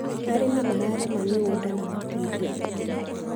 Arĩmi mararĩma mĩgũnda na matinga.